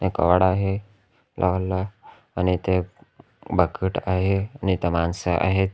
घर आहे लहान लहान आणि इथे एक बकेट आहे इथं माणसं आहेत.